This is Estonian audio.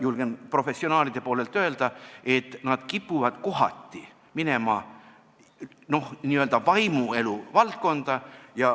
Julgen professionaalide poolelt öelda, et nad kipuvad kohati minema n-ö vaimuelu valdkonda.